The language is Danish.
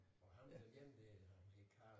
Og ham den ene dér han hed Karl